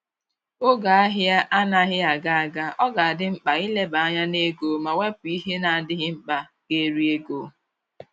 Oge ahia anaghị aga aga, ọ ga adị mkpa ileba anya n'ego ma wepu ihe na adịghị mkpa ga eri gị ego